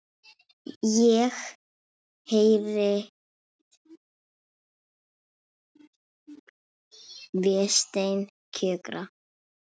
Ég heyri Véstein kjökra.